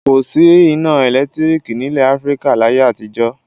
Kò sí iná ẹ̀lẹ́tíríkì nílẹ̀ Áfíríkà láyé àtijọ́.